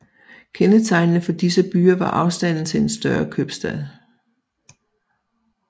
Kendetegnende for disse byer var afstanden til en større købstad